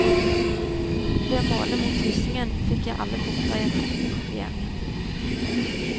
Ved å måle mot hyssingen fikk jeg alle punkter jeg trengte i kopieringen.